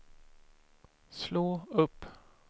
slå upp